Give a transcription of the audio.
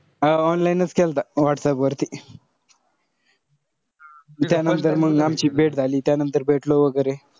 अं online च केलता WhatsApp वर. त्यानंतर मंग आमची भेट झाली. त्यानंतर भेटलो वगैरे.